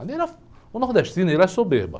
Ali era, o nordestino, ele é soberba.